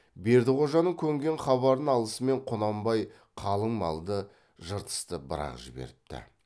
бердіқожаның көнген хабарын алысымен құнанбай қалың малды жыртысты бір ақ жіберіпті